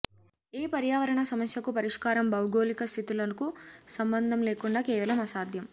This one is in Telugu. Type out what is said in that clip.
ఏ పర్యావరణ సమస్యకు పరిష్కారం భౌగోళిక స్థితులకు సంబంధం లేకుండా కేవలం అసాధ్యం